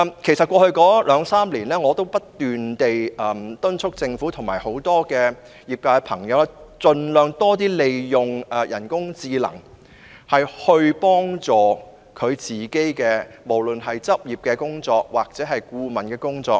其實，在過去兩三年，我已不斷敦促政府及業界朋友盡量利用人工智能，協助處理執業或顧問方面的工作。